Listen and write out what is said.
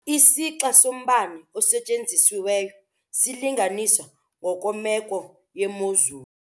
Isixa sombane osetyenzisiweyo silinganiswa ngokwemeko yemozulu.